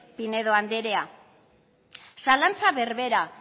pinedo anderea zalantza berbera